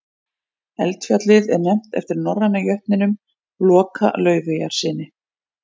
eldfjallið er nefnt eftir norræna jötninum loka laufeyjarsyni